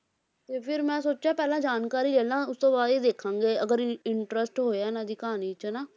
ਤੇ ਫਿਰ ਮੈਂ ਸੋਚਿਆ ਪਹਿਲਾਂ ਜਾਣਕਾਰੀ ਲੈ ਲਵਾਂ ਉਸ ਤੋਂ ਬਾਅਦ ਹੀ ਦੇਖਾਂਗੇ ਅਗਰ ਇੰ~ interest ਹੋਇਆ ਇਹਨਾਂ ਦੀ ਕਹਾਣੀ 'ਚ ਨਾ।